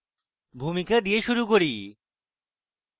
ভূমিকা দিয়ে শুরু করি